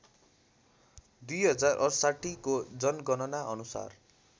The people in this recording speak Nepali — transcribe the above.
२०६८ को जनगणनाअनुसार